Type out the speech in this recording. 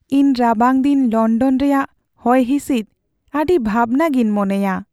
ᱤᱧ ᱨᱟᱵᱟᱝ ᱫᱤᱱ ᱞᱚᱱᱰᱚᱱ ᱨᱮᱭᱟᱜ ᱦᱚᱭᱦᱤᱸᱥᱤᱫ ᱟᱹᱰᱤ ᱵᱷᱟᱵᱽᱱᱟ ᱜᱤᱧ ᱢᱚᱱᱮᱭᱟ ᱾